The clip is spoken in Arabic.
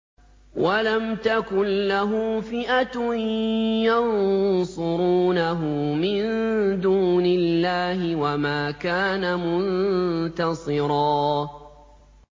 وَلَمْ تَكُن لَّهُ فِئَةٌ يَنصُرُونَهُ مِن دُونِ اللَّهِ وَمَا كَانَ مُنتَصِرًا